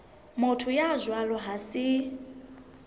motho ya jwalo ha se